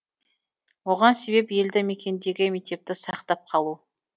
оған себеп елді мекендегі мектепті сақтап қалу